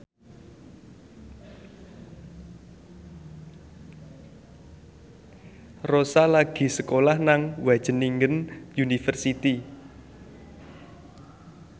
Rossa lagi sekolah nang Wageningen University